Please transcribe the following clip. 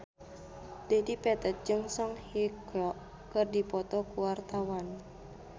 Dedi Petet jeung Song Hye Kyo keur dipoto ku wartawan